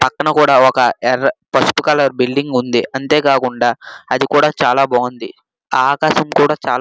పక్కన కూడా ఒక ఎర్ర పసుపు కలర్ బిల్డింగ్ ఉంది. అంతే కాకుండా అది కూడా చాలా బాగుంది. ఆ ఆకాశం కూడా చాలా--